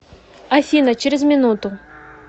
афина через минуту